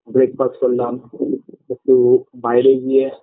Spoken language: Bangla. breakfast করলাম একটু বাইরে গিয়ে